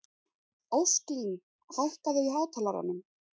Ósklín, hækkaðu í hátalaranum.